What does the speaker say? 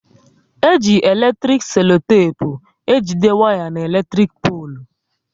E ji eletrik selotepu ejide waya n'elektrik polu